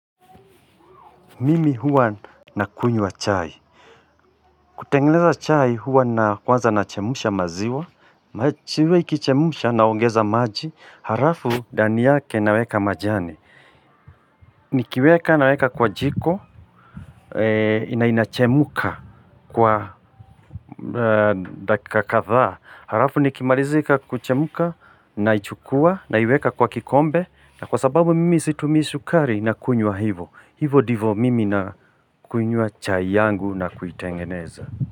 Mimi huwa nakunywa chai. Kutengeneza chai huwa kwanza nachemsha maziwa. Maziwa ikichemsha naongeza maji. Halafu ndani yake naweka majani. Nikiweka naweka kwa jiko. Na inachemka kwa dakika kadhaa. Halafu nikimalizika kuchemka naichukua naiweka kwa kikombe. Na kwa sababu mimi situmii sukari nakunywa hivyo. Hivo ndivyo mimi nakunywa chai yangu na kuitengeneza.